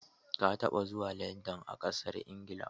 Ka taba zuwa Landan a ƙasar Ingila?